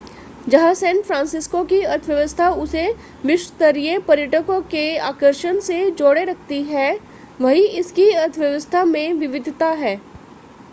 जहां San Francisco की अर्थव्यवस्था उसे विश्व-स्तरीय पर्यटकों के आकर्षण से जोड़े रखती है वहीं इसकी अर्थव्यवस्था में विविधता है